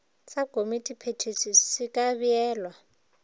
sa komitiphethiši se ka beelwa